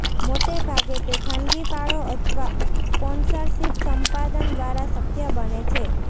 મોટે ભાગે તે ખાનગી ફાળો અથવા સ્પોન્સરશિપ સંપાદન દ્વારા શક્ય બને છે